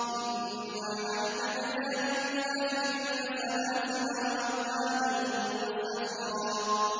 إِنَّا أَعْتَدْنَا لِلْكَافِرِينَ سَلَاسِلَ وَأَغْلَالًا وَسَعِيرًا